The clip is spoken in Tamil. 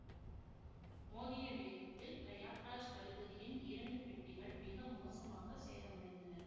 மோதிய வேகத்தில் பிரயாக்ராஜ் கடுகதியின் இரண்டு பெட்டிகள் மிக மோசமாக சேதமடைந்தன